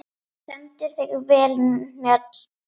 Þú stendur þig vel, Mjöll!